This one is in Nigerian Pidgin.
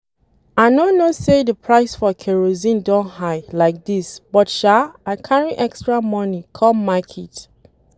I no know say the price for kerosene don high like dis but sha I carry extra money come market